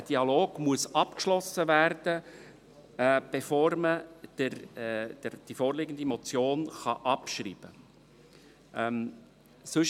Der Dialog muss abgeschlossen werden, bevor man die vorliegende Motion abschreiben kann.